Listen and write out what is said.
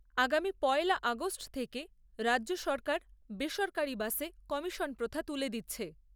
আগামী পয়লা আগষ্ট থেকে রাজ্য সরকার বেসরকারি বাসে কমিশন প্রথা তুলে দিচ্ছে ।